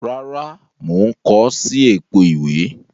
Rárá, mo n ko si èpo ìwé